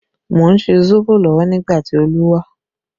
Mo ń ṣe sóbò lọ́wọ́ nígbà tí Olu wá